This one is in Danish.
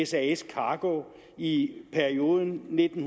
sas cargo i perioden nitten